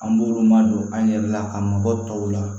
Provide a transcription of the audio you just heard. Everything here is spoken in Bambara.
An b'olu ma don an ɲɛrɛ la ka mɔgɔ tɔw la